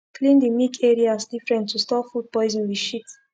clean de milk areas different to stop food poison with shit